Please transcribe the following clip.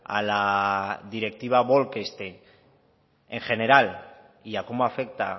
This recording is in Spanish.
a la directiva bolkestein en general y a cómo afecta